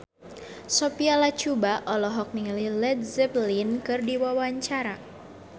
Sophia Latjuba olohok ningali Led Zeppelin keur diwawancara